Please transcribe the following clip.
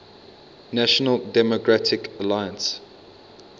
national democratic alliance